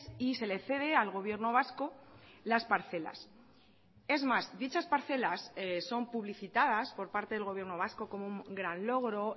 y se le cede al gobierno vasco las parcelas es más dichas parcelas son publicitadas por parte del gobierno vasco como un gran logro